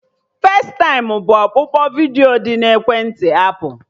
Festaịm bụ ọkpụkpụ vidiyo dị na ekwentị apụl